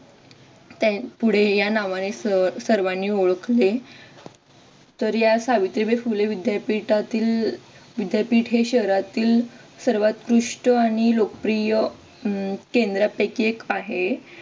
पुढे या नावाने सर्वांनी ओळखले. तर या सावित्रीबाई फुले विद्यापीठातील विद्यापीठ हे शहरातील सर्वोत्कृष्ट आणि लोकप्रिय अं केंद्रांपैकी एक आहे.